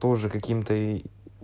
тоже каким-то ии